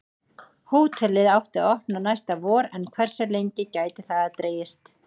Hótelið átti að opna næsta vor en hversu lengi gæti það dregist?